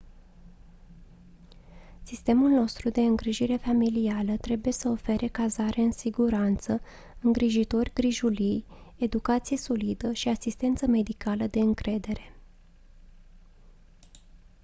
sistemul nostru de îngrijire familială trebuie să ofere cazare în siguranță îngrijitori grijulii educație solidă și asistență medicală de încredere